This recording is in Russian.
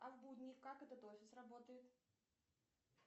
а в будни как этот офис работает